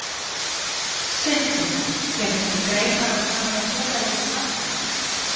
Sindri: Kemur til greina að taka félagið úr landi?